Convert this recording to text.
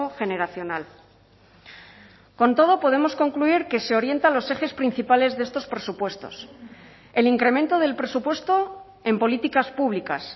generacional con todo podemos concluir que se orientan los ejes principales de estos presupuestos el incremento del presupuesto en políticas públicas